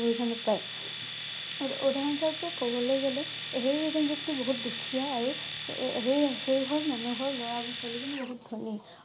সুবিধা নাপাই। আৰু উদাহৰণ স্বৰূপে কবলৈ গলে সেই এজন ব্যক্তি বহুত দুখীয়া আৰু এএ সেই সেই ঘৰ মানুহৰ লৰা বা ছোৱালী জনি বহুত ধনী ।